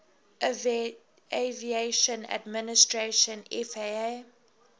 aviation administration faa